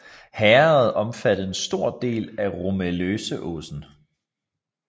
Herredet omfattede en stor del af Romeleåsen